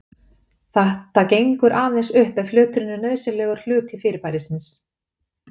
Þetta gengur aðeins upp ef hluturinn er nauðsynlegur hluti fyrirbærisins.